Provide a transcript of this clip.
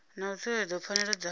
na u tsireledza pfanelo dza